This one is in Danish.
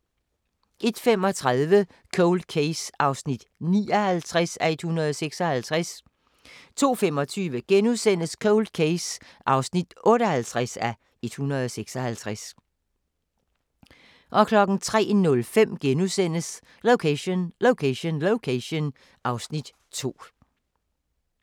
01:35: Cold Case (59:156) 02:25: Cold Case (58:156)* 03:05: Location Location Location (Afs. 2)*